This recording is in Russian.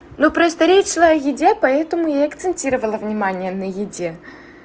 ну просто речь шла о еде поэтому и акцентировал внимание на еде